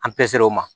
An peser o ma